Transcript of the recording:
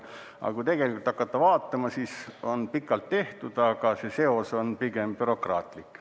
Aga kui tegelikult hakata vaatama, siis on küll pikalt tehtud, aga see seos on pigem bürokraatlik.